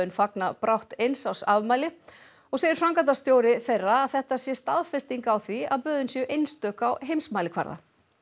fagna brátt eins árs afmæli og segir framkvæmdastjóri þeirra að þetta sé staðfesting á því að böðin séu einstök á heimsmælikvarða